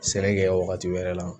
Sɛnɛ kɛ wagati wɛrɛ la